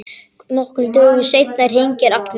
Nokkrum dögum seinna hringir Agnes.